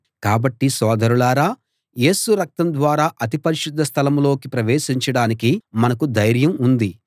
కాబట్టి సోదరులారా యేసు రక్తం ద్వారా అతి పరిశుద్ధ స్థలంలోకి ప్రవేశించడానికి మనకు ధైర్యం ఉంది